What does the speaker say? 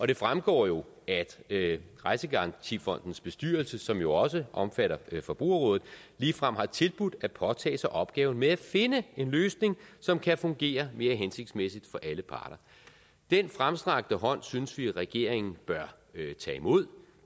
det fremgår jo at rejsegarantifondens bestyrelse som jo også omfatter forbrugerrådet ligefrem har tilbudt at påtage sig opgaven med at finde en løsning som kan fungere mere hensigtsmæssigt for alle parter den fremstrakte hånd synes vi at regeringen bør tage imod